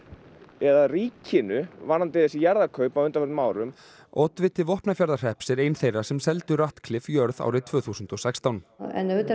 eða ríkinu varðandi þessi jarðarkaup á undanförnum árum oddviti Vopnafjarðarhrepps er ein þeirra sem seldu Ratcliffe jörð árið tvö þúsund og sextán en auðvitað